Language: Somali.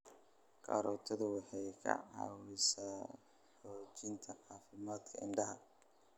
Karootadu waxay ka caawisaa hagaajinta caafimaadka indhaha.